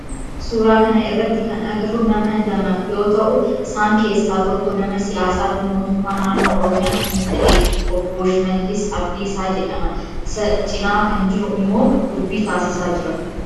Suuraa kana irratti kan agarru nama lama yoo ta'u isaan keessaa tokko nama siyaasaa fi mootummaa naannoo oromiyaa kan ta'e obboo Shimaallis Abdiisaa jedhama. Isa cinaa kan jiru immoo dubbii taasisaa jira.